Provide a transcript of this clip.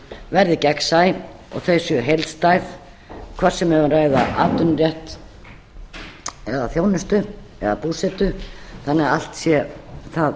verði gegnsæ og þau séu heildstæð hvort sem við erum að ræða atvinnurétt eða þjónustu eða búsetu þannig að allt sé það